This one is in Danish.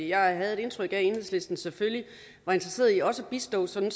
jeg havde et indtryk af at enhedslisten selvfølgelig var interesseret i også at bistå sådan